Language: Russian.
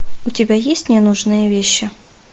у тебя есть ненужные вещи